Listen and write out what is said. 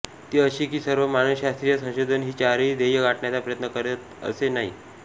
ती अशी की सर्व मानसशास्त्रीय संशोधन ही चारही ध्येय गाठण्याचा प्रयत्न करतील असे नाही